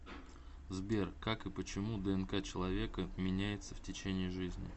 сбер как и почему днк человека меняется в течение жизни